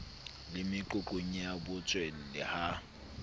le meqoqong ya botswalle ha